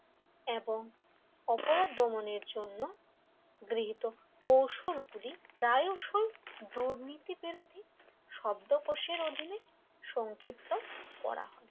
এবং অপরাধ দমনের জন্য গৃহীত কৌশল গুলি প্রায়শই দুর্নীতি বিরোধী শব্দকোষের অধীনে সংক্ষিপ্ত করা হয়